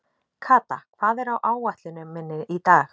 Kata, hvað er á áætluninni minni í dag?